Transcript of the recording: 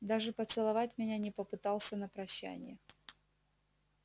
даже поцеловать меня не попытался на прощанье